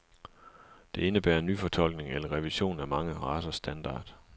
Det indebærer nyfortolkning eller revision af mange racers standard.